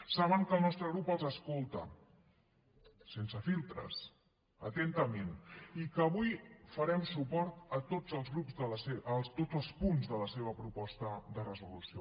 saben que el nostre grup els escolta sense filtres atentament i que avui farem suport a tots els punts de la seva proposta de resolució